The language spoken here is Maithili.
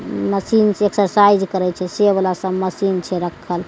मशीन से एक्सरसाइज करे छै वाला सब मशीन छै रखल --